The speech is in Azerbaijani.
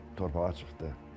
Bu torpağa çıxdıq.